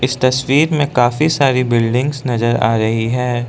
इस तस्वीर में काफी सारी बिल्डिंग्स नजर आ रही है।